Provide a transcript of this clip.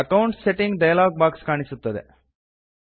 accounts settings dialog box ಕಾಣಿಸುತ್ತದೆ